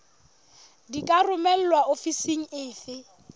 di ka romelwa ofising efe